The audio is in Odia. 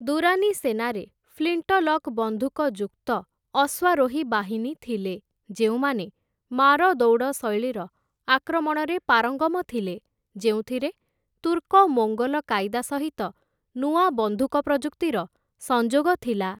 ଦୁରାନି ସେନାରେ ଫ୍ଲିଣ୍ଟଲକ୍ ବନ୍ଧୁକ ଯୁକ୍ତ ଅଶ୍ୱାରୋହୀ ବାହିନୀ ଥିଲେ, ଯେଉଁମାନେ ମାର ଦୌଡ଼ ଶୈଳୀର ଆକ୍ରମଣରେ ପାରଙ୍ଗମ ଥିଲେ, ଯେଉଁଥିରେ ତୁର୍କ ମୋଙ୍ଗୋଲ କାଇଦା ସହିତ ନୂଆ ବନ୍ଧୁକ ପ୍ରଯୁକ୍ତିର ସଂଯୋଗ ଥିଲା ।